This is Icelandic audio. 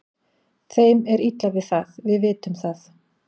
Þeim er illa við það, við vitum það.